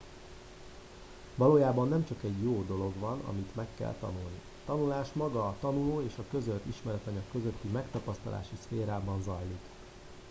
valójában nem csak egy jó dolog van amit meg kell tanulni a tanulás maga a tanuló és a közölt ismeretanyag közötti megtapasztalási szférában zajlik